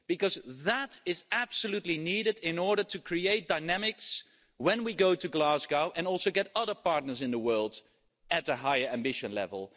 Because that is absolutely needed in order to create dynamics when we go to Glasgow and also to get other partners in the world at a higher ambition level.